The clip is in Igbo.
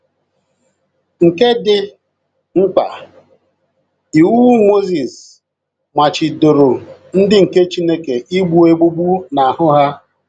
nke dị mkpa, iwu Mozis machibidoro ndị nke Chineke igbu egbugbu n'ahụ ha.